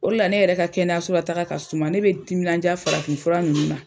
O de la ne yɛrɛ ka kɛnɛyaso la taaga ka suma, ne bɛ n timinanja farafin fura nunnu na.